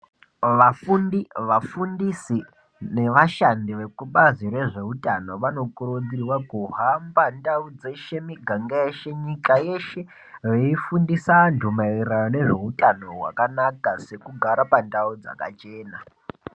Vafundi, vafundisi nevashandi vekubazi rezveutano, vanokurudzirwa kuhamba ndau dzeshe, miganga yeshe, nyika yeshe veifundisa antu maererano nezveutano hwakanaka sekugara pandau dzakachena.